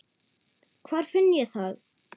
Hvar finn ég það?